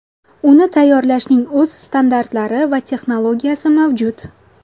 Uni tayyorlashning o‘z standartlari va texnologiyasi mavjud.